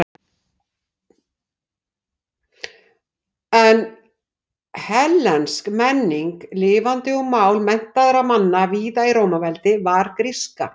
En hellensk menning lifði og mál menntaðra manna víða í Rómaveldi var gríska.